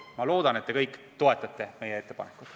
Ma loodan, et te kõik toetate meie ettepanekut.